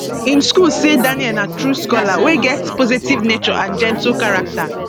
im school say daniel na true scholar wey get positive nature and gentle character